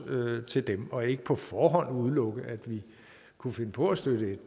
til dem og ikke på forhånd udelukke at vi kunne finde på at støtte